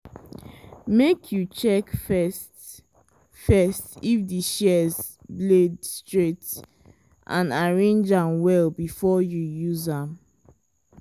make you check first first if di shears blade straight and arrange well before you use am.